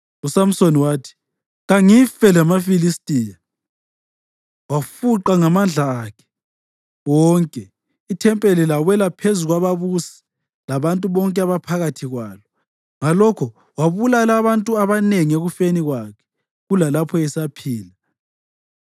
uSamsoni wathi, “Kangife lamaFilistiya!” Wafuqa ngamandla akhe wonke, ithempeli lawela phezu kwababusi labantu bonke ababephakathi kwalo. Ngalokho wabulala abantu abanengi ekufeni kwakhe kulalapho esaphila.